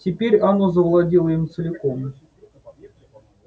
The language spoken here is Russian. теперь оно завладело им целиком